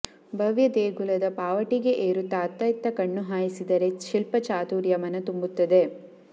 ಭವ್ಯ ದೇಗುಲದ ಪಾವಟಿಗೆ ಏರುತ್ತಾ ಅತ್ತ ಇತ್ತ ಕಣ್ಣು ಹಾಯಿಸಿದರೆ ಶಿಲ್ಪ ಚಾತುರ್ಯ ಮನತುಂಬುತ್ತದೆ